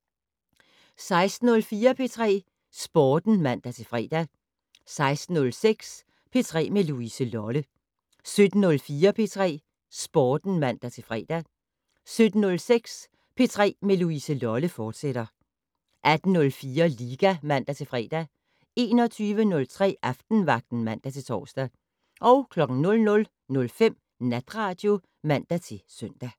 16:04: P3 Sporten (man-fre) 16:06: P3 med Louise Lolle 17:04: P3 Sporten (man-fre) 17:06: P3 med Louise Lolle, fortsat 18:04: Liga (man-fre) 21:03: Aftenvagten (man-tor) 00:05: Natradio (man-søn)